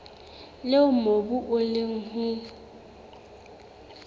leo mobu o leng ho